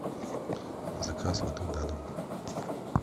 заказ воды на дом